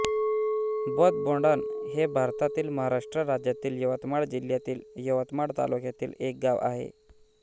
बोथबोडण हे भारतातील महाराष्ट्र राज्यातील यवतमाळ जिल्ह्यातील यवतमाळ तालुक्यातील एक गाव आहे